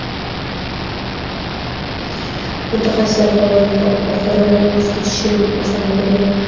mutaxassislar qovurilgan ovqatlardan voz kechishni maslahat bergan.